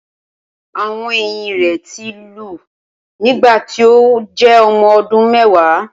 Awọn eyin rẹ ti lu nigbati o jẹ ọmọ ọdun mẹwa